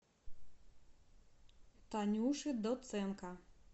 танюши доценко